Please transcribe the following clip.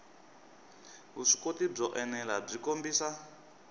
vuswikoti byo enela byi kombisa